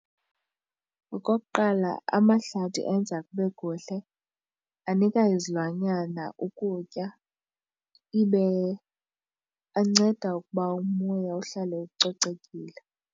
Okokuqala amahlathi enza kube kuhle, anika izilwanyana ukutya, ibe ancede ukuba umoya uhlale ucocekile.